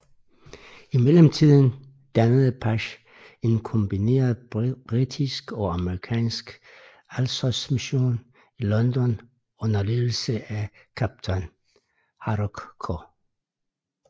I mellemtiden dannede Pash en kombineret britisk og amerikansk Alsosmission i London under ledelse af kaptajn Horace K